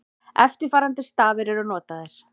Eftirfarandi stafir eru notaðir: